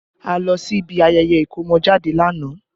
A lọ sí ibi ayẹyẹ ikomojade lánàá